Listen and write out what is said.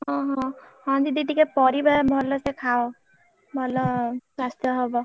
ହଁ ହଁ ହଁ ଦିଦି ଟିକେ ପରିବା ଭଲସେ ଖାଅ ଭଲ ସ୍ବାସ୍ଥ୍ୟ ହବ।